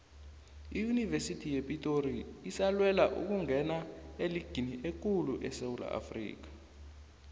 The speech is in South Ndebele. iyunivesithi yepitori isalwela ukungena eligini ekulu esewula afrikha